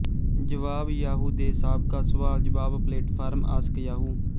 ਜਵਾਬ ਯਾਹੂ ਦੇ ਸਾਬਕਾ ਸਵਾਲਜਵਾਬ ਪਲੇਟਫ਼ਾਰਮ ਆਸਕ ਯਾਹੂ